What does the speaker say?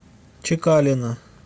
чекалина